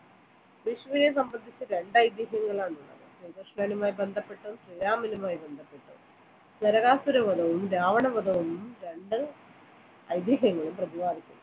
വിഷുവിനെ സംബന്ധിച്ച് രണ്ട് ഐതിഹ്യങ്ങൾ ആണുള്ളത് ശ്രീകൃഷ്ണനുമായി ബന്ധപ്പെട്ടതും ശ്രീരാമനുമായി ബന്ധപ്പെട്ടതും നരകാസുര വധവും രാവണവധവും രണ്ട് ഐതിഹ്യങ്ങളും പ്രതിപാദിക്കുന്നു